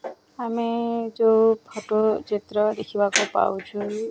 ଆମେ ଯୋଉ ଫୋଟ ଚିତ୍ର ଦେଖିବାକୁ ପାଉଛୁ --